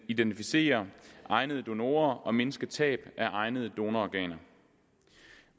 identificere egnede donorer og mindske tab af egnede donororganer